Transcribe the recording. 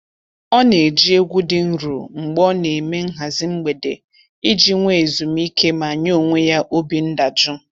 Ọ na-eji egwu dị nro mgbe ọ na-eme nhazị mgbede iji nwe ezumiike ma nye onwe ya obi ndajụ